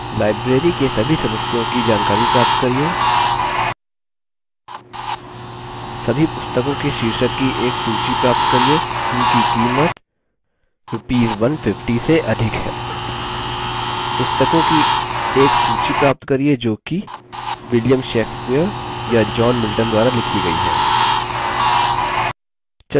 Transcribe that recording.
1 library के सभी सदस्यों की जानकारी प्राप्त करिये 2 सभी पुस्तकों के शीर्षक की एक सूची प्राप्त करिये जिनकी कीमत rs १५० से अधिक है 3 पुस्तकों की एक सूची प्राप्त करिये जो कि william shakespeare या john milton द्वारा लिखी गयी हैं